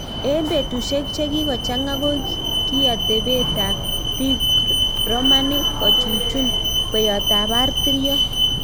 Eng petusiek chekikochanga ko kii atepeet ap piik Romanic kochuchun kweiyot ap patiriot